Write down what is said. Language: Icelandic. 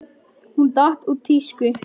Hún datt úr tísku.